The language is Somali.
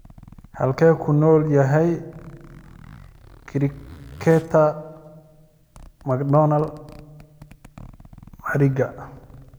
Halkee ku nool yahay cricketer macdonald mariga?